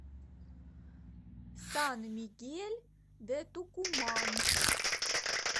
сан мигель де тукуман